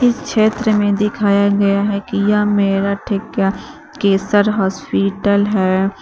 क्षेत्र में दिखाया गया है कि यह मेरठ ये का केसर हॉस्पिटल है।